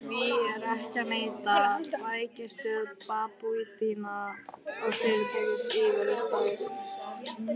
Því er ekki að neita: bækistöð babúítanna var fyrirtaks íverustaður.